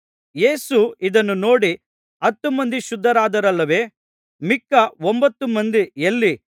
ಯೇಸು ಇದನ್ನು ನೋಡಿ ಹತ್ತು ಮಂದಿ ಶುದ್ಧರಾದರಲ್ಲವೇ ಮಿಕ್ಕ ಒಂಭತ್ತು ಮಂದಿ ಎಲ್ಲಿ